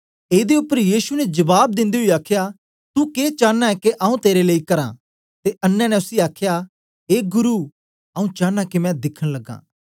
एदे उपर यीशु ने जबाब दिंदे ओई आखया तू के चानां ऐ के आऊँ तेरे लेई करां ते अन्नें ने उसी आखया ए गुरु आऊँ चानां के मैं दिखन लगां